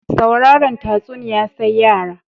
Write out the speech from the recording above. Sauraren tatsuniya sai yara